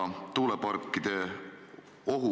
Mida ta arvab sellest seadusest, mis peaks rakenduma 1. aprillist?